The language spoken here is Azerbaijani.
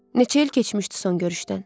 Neçə il keçmişdi son görüşdən?